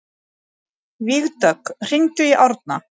Vígdögg, hringdu í Árna.